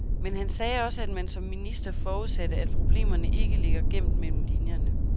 Men han sagde også, at man som minister forudsatte, at problemerne ikke ligger gemt mellem linierne.